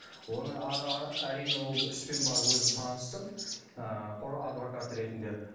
оны әрине ол іспен барып өзім таныстым ыыы құр адвокат ретінде